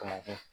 Kamankun